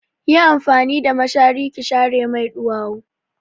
Yi amfani da mashari ki share mai ɗuwawu!